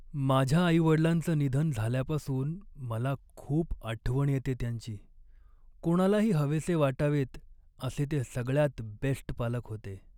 माझ्या आई वडिलांचं निधन झाल्यापासून मला खूप आठवण येते त्यांची. कोणालाही हवेसे वाटावेत असे ते सगळ्यात बेस्ट पालक होते.